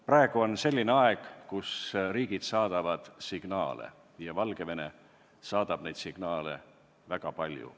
Praegu on selline aeg, kus riigid saadavad signaale ja Valgevene ise saadab neid signaale väga palju.